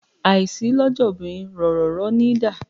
Àìsí lọ́jà obìnrin róroòró níi dá.